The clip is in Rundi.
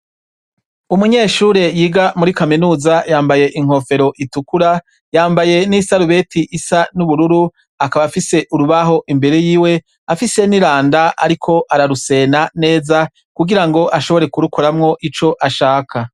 Umunyeshure yiga muri Kaminuza yambaye inkofero itukura, yambaye nisarubeti isa nubururu, akaba afise urubaho imbere yiwe afise niranda ariko ararusena neza kugira ngo ashobora kurukoramwo ico ashaka.